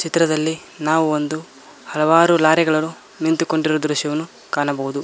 ಚಿತ್ರದಲ್ಲಿ ನಾವು ಒಂದು ಹಲವಾರು ಲಾರಿ ಗಳನ್ನು ನಿಂತುಕೊಂಡಿರುವ ದೃಶ್ಯವನ್ನು ಕಾಣಬಹುದು.